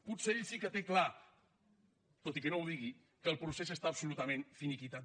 potser ell sí que té clar tot i que no ho digui que el procés està absolutament finiquitat